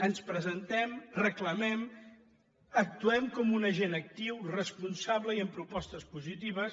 ens presentem reclamem actuem com un agent actiu responsable i amb propostes positives